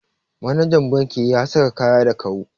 Manajan banki ya saka kaya da kau